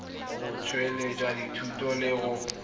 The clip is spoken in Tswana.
go tsweletsa dithuto le go